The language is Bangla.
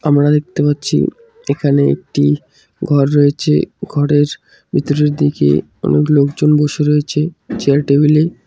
আমরা দেখতে পাচ্ছি এখানে একটি ঘর রয়েছে ঘরের ভিতরের দিকে অনেক লোকজন বসে রয়েছে চেয়ার টেবিল -এ।